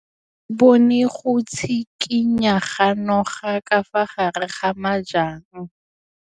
O bone go tshikinya ga noga ka fa gare ga majang.